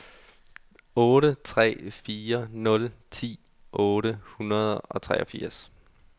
otte tre fire nul ti otte hundrede og treogfirs